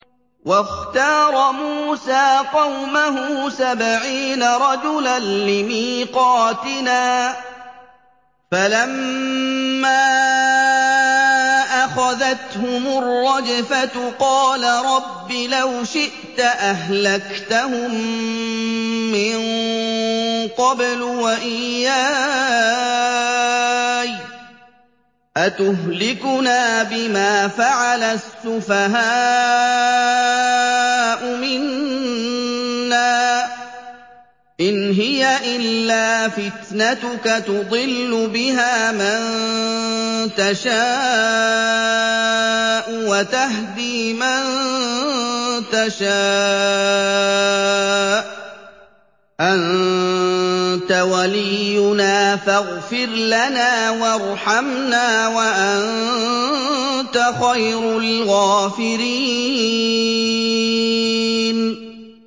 وَاخْتَارَ مُوسَىٰ قَوْمَهُ سَبْعِينَ رَجُلًا لِّمِيقَاتِنَا ۖ فَلَمَّا أَخَذَتْهُمُ الرَّجْفَةُ قَالَ رَبِّ لَوْ شِئْتَ أَهْلَكْتَهُم مِّن قَبْلُ وَإِيَّايَ ۖ أَتُهْلِكُنَا بِمَا فَعَلَ السُّفَهَاءُ مِنَّا ۖ إِنْ هِيَ إِلَّا فِتْنَتُكَ تُضِلُّ بِهَا مَن تَشَاءُ وَتَهْدِي مَن تَشَاءُ ۖ أَنتَ وَلِيُّنَا فَاغْفِرْ لَنَا وَارْحَمْنَا ۖ وَأَنتَ خَيْرُ الْغَافِرِينَ